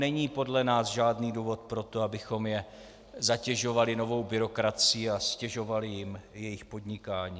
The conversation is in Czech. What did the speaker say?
Není podle nás žádný důvod pro to, abychom je zatěžovali novou byrokracií a ztěžovali jim jejich podnikání.